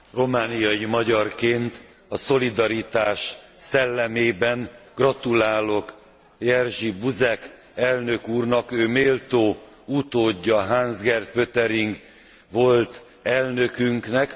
Romániai magyarként a szolidaritás szellemében gratulálok Jerzy Buzek elnök úrnak, ő méltó utódja Hans Gert Pöttering volt elnökünknek.